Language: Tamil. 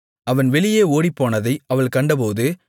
அவன் வெளியே ஓடிப்போனதை அவள் கண்டபோது